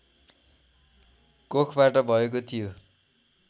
कोखबाट भएको थियो